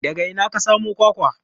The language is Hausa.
Daga ina ka samo kwakwa?